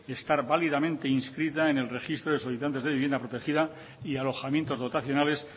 estar validamente inscrita en el registro de solicitantes de vivienda protegida y alojamientos dotacionales